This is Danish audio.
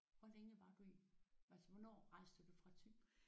Hvor længe var du i altså hvornår rejste du fra Thy?